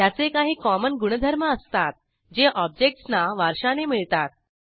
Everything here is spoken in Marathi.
त्याचे काही कॉमन गुणधर्म असतात जे ऑब्जेक्टसना वारशाने मिळतात